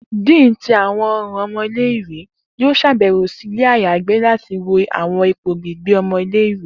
Dean ti Awọn ọran ọmọ ile-iwe yoo ṣabẹwo si ile ayagbe lati wo awọn ipo gbigbe ọmọ ile-iwe.